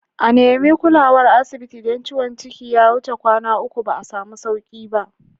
A nemi kulawar asibiti idan ciwon ciki ya wuce kwanaki uku ba samu sauku ba